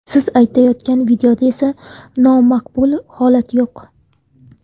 Siz aytayotgan videoda esa nomaqbul holat yo‘q.